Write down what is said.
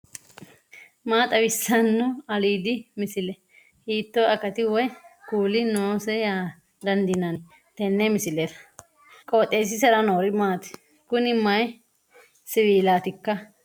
maa xawissanno aliidi misile ? hiitto akati woy kuuli noose yaa dandiinanni tenne misilera? qooxeessisera noori maati ? kuni mayi siwiilaatikka